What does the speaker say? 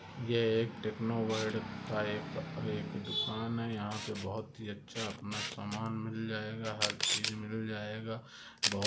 एह एक Techno World का एक दुकान है यहाँ पर बहुत ही अच्छा अपना सामान मिल जाएगा हार चीज मिल जाएगा। वह--